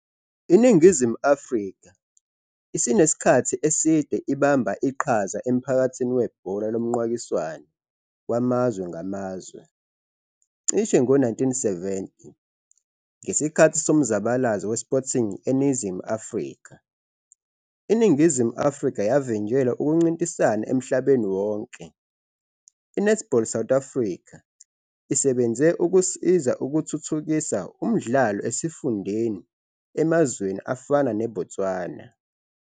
INingizimu Afrika isinesikhathi eside ibamba iqhaza emphakathini webhola lomqakiswano wamazwe ngamazwe. Cishe ngo-1970, ngesikhathi somzabalazo weSporting eNingizimu Afrika, iNingizimu Afrika yavinjelwa ukuncintisana emhlabeni wonke. I-Netball South Africa isebenze ukusiza ukuthuthukisa umdlalo esifundeni emazweni afana neBotswana.